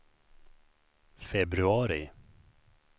februari